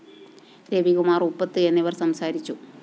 രവികുമാര്‍ ഉപ്പത്ത് എന്നിവര്‍ സംസാരിച്ചു